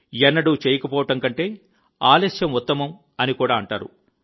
ఎన్నడూ చేయకపోవడం కంటే ఆలస్యం ఉత్తమం అని కూడా అంటారు